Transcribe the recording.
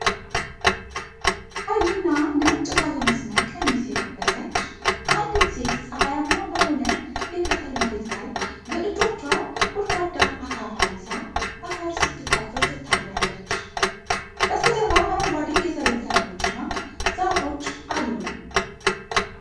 ቀይና ነጭ ባለመስመር ቀሚስ የለበሰች አንዲት ሴት ፀሐያማ በሆነ የገጠር መሬት ላይ በእጆቿ ጐድጓዳ አካፋ ይዛ አፈር ስትቆፍር ትታያለች። በስተጀርባ አረንጓዴ የሰብል ተክሎችና ዛፎች አሉ።